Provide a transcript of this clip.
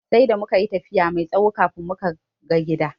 Sai da mukayi tafiya mai tsawo kafin muka ga gidan.